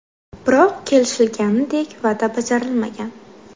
Biroq kelishilganidek va’da bajarilmagan.